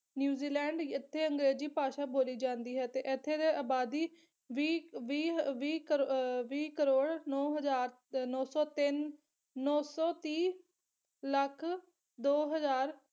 New Zealand ਇੱਥੇ ਅੰਗਰੇਜ਼ੀ ਭਾਸ਼ਾ ਬੋਲੀ ਜਾਂਦੀ ਹੈ ਤੇ ਇੱਥੇ ਦੇ ਅਬਾਦੀ ਵੀਹ ਵੀਹ ਹ ਵੀਹ ਅਹ ਵੀਹ ਕਰੋੜ ਨੌ ਹਜ਼ਾਰ ਨੌ ਸੌ ਤਿੰਨ ਨੌ ਸੌ ਤੀਹ ਲੱਖ ਦੋ ਹਜ਼ਾਰ